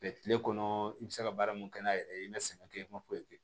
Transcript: kile kɔnɔ i bɛ se ka baara mun kɛ n'a yɛrɛ ye i ma sɛgɛn kɛ i ma foyi kɛ